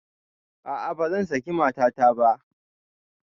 A'a bazan saki matata ba